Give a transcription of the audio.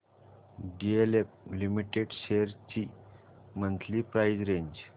DLF limited shares ची monthly price range